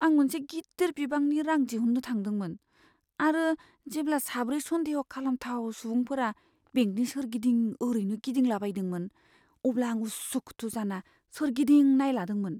आं मोनसे गिदिर बिबांनि रां दिहुन्नो थांदोंमोन आरो जेब्ला साब्रै सन्देह खालामथाव सुबुंफोरा बेंकनि सोरगिदिं ओरैनो गिदिंलाबायदोंमोन, अब्ला आं उसु खुथु जाना सोरगिदिं नायलादोंमोन ।